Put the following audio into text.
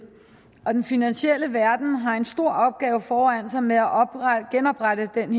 og den finansielle verden har en stor opgave foran sig med at genoprette den